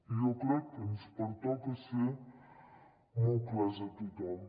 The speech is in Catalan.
i jo crec que ens pertoca ser molt clars a tothom